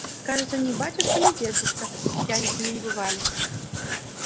кажется ни батюшка ни дедушка пьяницами не бывали